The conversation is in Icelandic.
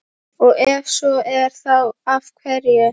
Og ef svo er þá af hverju?